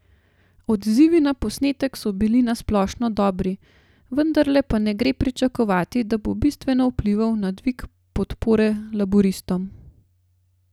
Odzivi na posnetek so bili na splošno dobri, vendarle pa ne gre pričakovati, da bo bistveno vplival na dvig podpore laburistom.